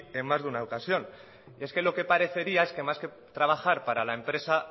en más de una ocasión y es que lo que parecería es que más que trabajar para la empresa